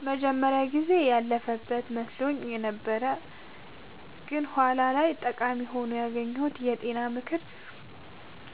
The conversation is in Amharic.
የመጀመሪያው ጊዜ ያለፈበት መስሎኝ የነበረው ግን በኋላ ላይ ጠቃሚ ሆኖ ያገኘሁት የጤና ምክር